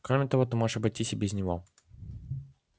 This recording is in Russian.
кроме того ты можешь обойтись и без него